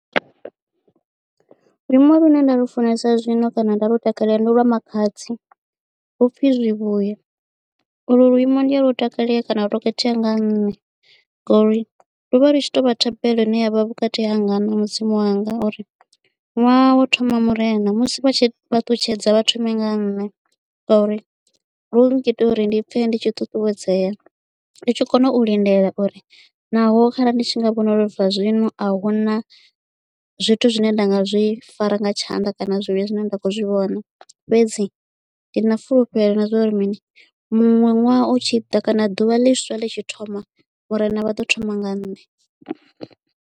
Luimbo lune nda lufunesa zwino kana nda lu takalela ndi lwa Makhadzi lupfhi zwivhuya u lwo luimbo ndi a lu takale kana lwo khethea kha nṋe ngori luvha lu tshi to vha thabelo ine yavha vhukati hanga na mudzimu wanga uri ṅwaha wo thoma murena musi vha tshi fhaṱutshedza vha thome nga nṋe ngauri lu ngita uri ndi pfhe ndi tshi ṱuṱuwedzea ndi tshi kona u lindela uri naho kharali ndi tshi nga vhona uri na zwino a huna zwithu zwine nda nga zwi fara nga tshanḓa kana zwivhuya zwine nda kho zwi vhona fhedzi ndi na fulufhelo na zwa uri mini muṅwe ṅwaha u tshi ḓa kana ḓuvha ḽiswa ḽi tshi thoma murena vha ḓo thoma nga nṋe.